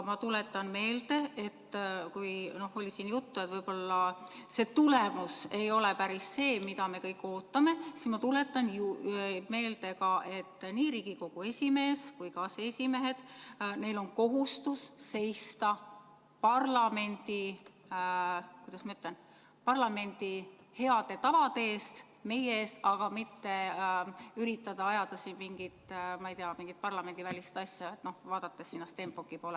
Siin oli juttu sellest, et võib-olla see tulemus ei ole päris see, mida me kõik ootame, aga ma tuletan meelde, et nii Riigikogu esimehel kui ka aseesimeestel on kohustus seista parlamendi, kuidas ma ütlen, heade tavade eest, meie eest, mitte üritada ajada siin mingit, ma ei tea, parlamendivälist asja, vaadates Stenbocki poole.